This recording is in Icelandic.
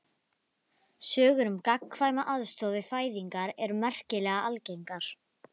Ég tek mér leigubíl báðar leiðir, svo hafðu ekki áhyggjur.